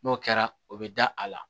N'o kɛra o bɛ da a la